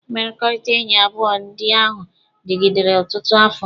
Mmekọrịta enyi abụọ ndị ahụ dịgidere ọtụtụ afọ.